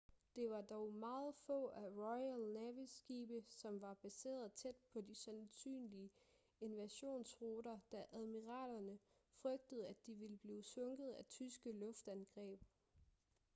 det var dog meget få af royal navys skibe som var baseret tæt på de sandsynlige invasionruter da admiralerne frygtede at de ville blive sunket af tyske luftangreb